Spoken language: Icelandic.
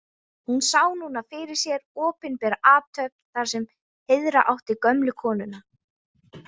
Hún sá núna fyrir sér opinbera athöfn þar sem heiðra átti gömlu konuna.